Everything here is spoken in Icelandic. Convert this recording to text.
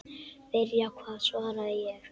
Byrja hvað svaraði ég.